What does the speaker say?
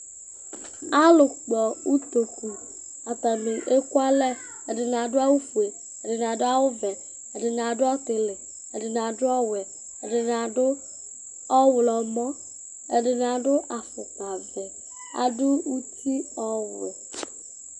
Alʋkpɔ utoku Atanɩ ekualɛ Ɛdɩnɩ adʋ awʋfue, ɛdɩnɩ adʋ awʋvɛ, ɛdɩnɩ adʋ ɔtɩlɩ, ɛdɩnɩ adʋ ɔwɛ, ɛdɩnɩ adʋ ɔɣlɔmɔ, ɛdɩnɩ adʋ afʋkpavɛ, adʋ uti ɔwɛ